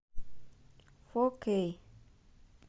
фо кей